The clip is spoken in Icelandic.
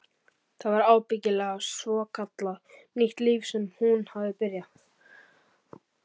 Það var ábyggilega svokallað nýtt líf sem hún hafði byrjað.